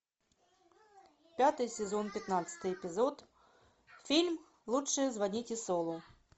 пятый сезон пятнадцатый эпизод фильм лучше звоните солу